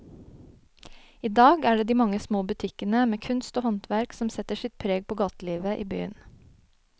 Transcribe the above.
I dag er det de mange små butikkene med kunst og håndverk som setter sitt preg på gatelivet i byen.